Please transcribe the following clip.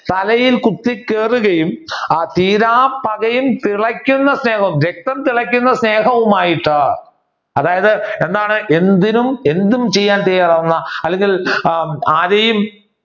തലയിൽ കുത്തികയറുകയും ആ തീരാപ്പകയും തിളയ്ക്കുന്ന സ്നേഹവും രക്തം തിളയ്ക്കുന്ന സ്നേഹവുമായിട്ട് അതായത് എന്താണ് എന്തിനും എന്തും ചെയ്യാൻ തയ്യാറാവുന്ന അല്ലെങ്കിൽ ആരെയും